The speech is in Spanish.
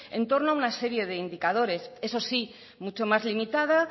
en torno a una serie de indicadores eso sí mucho más limitada